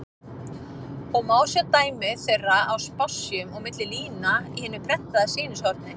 og má sjá dæmi þeirra á spássíum og milli lína í hinu prentaða sýnishorni.